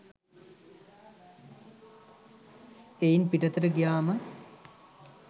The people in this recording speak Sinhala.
එයින් පිටතට ගියාම